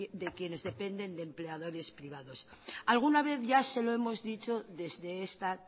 de quienes dependen de empleadores privados alguna vez ya se lo hemos dicho desde esta